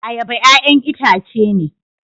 Ayaba 'ya'yan itace ne